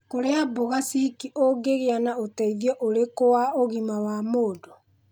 Kũrĩa mbũga ciki ũngĩgĩa na ũteithio ũrĩkũwa ũgima wa mũndũ.